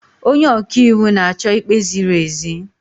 Onye ọka iwu na-achọ ikpe ziri ezi.